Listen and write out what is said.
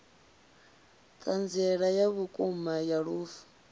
thanziela ya vhukuma ya lufu